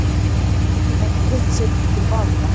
Fólkið fær sparifé sitt til baka